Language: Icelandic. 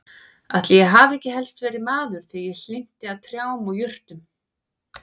Ætli ég hafi ekki helst verið maður þegar ég hlynnti að trjám og jurtum.